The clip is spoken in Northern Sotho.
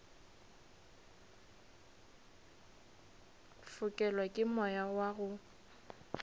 fokelwa ke moya wa go